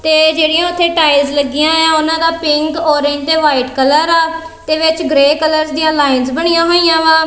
ਤੇ ਜਿਹੜੀਆਂ ਓੱਥੇ ਟਾਈਲਜ਼ ਲੱਗੀਆਂ ਹੋਈਆਂ ਏ ਆ ਓਹਨਾਂ ਦਾ ਪਿੰਕ ਔਰੇਂਜ ਤੇ ਵਾਈਟ ਕਲਰ ਆ ਤੇ ਵਿੱਚ ਗ੍ਰੇ ਕਲਰਸ ਦੀਆਂ ਲਾਇੰਸ ਬਣੀਆਂ ਹੋਈਆਂ ਵਾਂ।